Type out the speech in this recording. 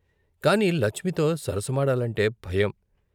కాని లచ్మితో సరస మాడాలంటే భయం.